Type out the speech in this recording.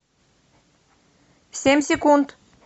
семь секунд